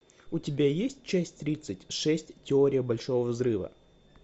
у тебя есть часть тридцать шесть теория большого взрыва